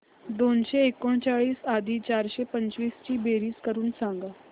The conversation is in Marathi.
दोनशे एकोणचाळीस अधिक चारशे पंचवीस ची बेरीज करून सांगा